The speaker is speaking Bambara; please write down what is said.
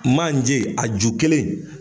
Manje, a ju kelen